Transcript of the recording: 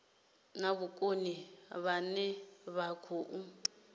na vhukoni vhane vha khou